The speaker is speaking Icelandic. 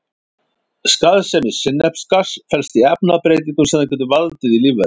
Skaðsemi sinnepsgass felst í efnabreytingum sem það getur valdið í lífverum.